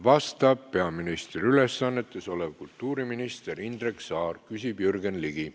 Vastab peaministri ülesannetes olev kultuuriminister Indrek Saar, küsib Jürgen Ligi.